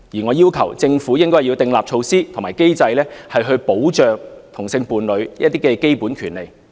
我要求政府訂立措施及機制，以保障同性伴侶的一些基本權利。